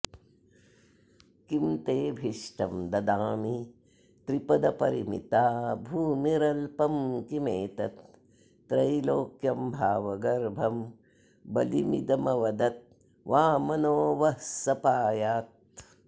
किं तेऽभीष्टं ददामि त्रिपदपरिमिता भूमिरल्पं किमेतत् त्रैलोक्यं भावगर्भं बलिमिदमवदद्वामनो वः स पायात्